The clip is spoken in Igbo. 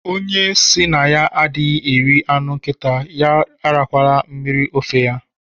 Onye si na ya adịghị eri anụ nkịta ya arakwala mmiri ofe ya